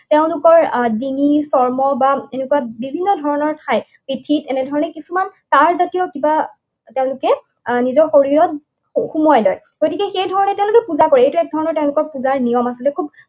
তেওঁলোকৰ ডিঙি, চৰ্ম বা এনেকুৱা বিভিন্ন ধৰণৰ ঠাই, পিঠিত এনেধৰণে কিছুমান তাঁৰজাতীয় কিবা তেওঁলোকে আহ নিজৰ শৰীৰত সুমুৱাই লয়। গতিকে সেইধৰণে তেওঁলোকে পূজা কৰে। এইটো এক ধৰণৰ তেওঁলোকৰ পূজাৰ নিয়ম আছিলে। খুব